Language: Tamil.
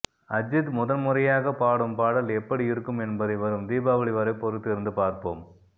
அஜித் முதன்முறையாக பாடும் பாடல் எப்படி இருக்கும் என்பதை வரும் தீபாவளி வரை பொறுத்திருந்து பார்ப்போம்